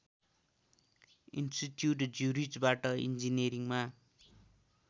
institute ज्युरिचबाट इन्जिनियरिङमा